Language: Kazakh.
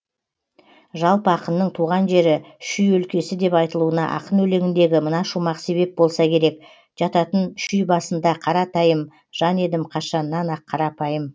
жалпы ақынның туған жері шүй өлкесі деп айтылуына ақын өлеңіндегі мына шумақ себеп болса керек жататын шүй басында қаратайым жан едім қашаннан ақ қарапайым